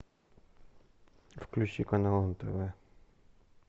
включи канал нтв